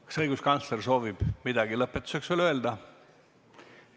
Kas õiguskantsler soovib midagi lõpetuseks öelda?